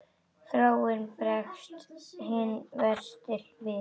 Þráinn bregst hinn versti við.